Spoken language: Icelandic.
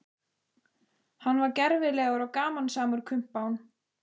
Hann var gervilegur og gamansamur kumpán.